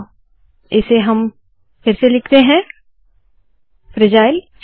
तो इसे फिर से लिखते है फ्रैजाइल